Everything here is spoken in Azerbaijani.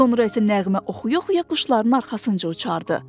Sonra isə nəğmə oxuya-oxuya quşların arxasınca uçardı.